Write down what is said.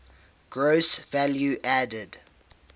gross value added